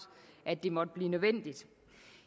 det måtte blive nødvendigt